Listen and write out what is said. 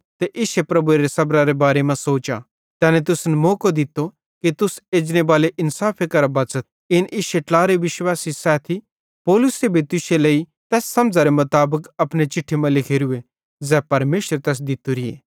ते इश्शे प्रभुएरे सबरारे बारे मां सोचा तैने तुसन मौको दित्तो कि तुस एजनेबाले इन्साफे करां बच़थ इन इश्शे ट्लारे विश्वासी सैथे पौलुसे भी तुश्शे लेइ तैस समझ़ारे मुताबिक अपने चिट्ठी मां लिखोरू ज़ै परमेशरे तैस दित्तोरीए